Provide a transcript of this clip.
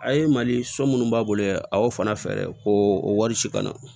A ye mali so munnu b'a bolo yɛrɛ a y'o fana fɛ ko o wari ci ka na